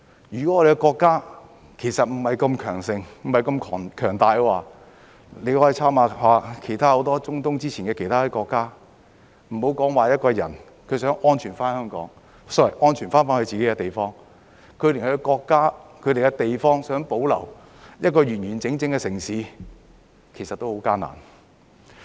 如果我們的國家不是那麼強大的話，大家可以參考一下很多中東其他國家之前的經歷，莫說一個人想安全返香港 ......sorry， 安全返回自己的地方，就連自己國家想保留一個完完整整的城市，其實也很艱難。